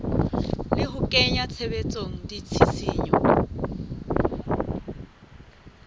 le ho kenya tshebetsong ditshisinyo